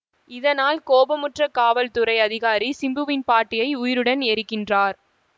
இதனால் கோபமுற்ற காவல்துறை அதிகாரி சிம்புவின் பாட்டியை உயிருடன் எரிக்கின்றார்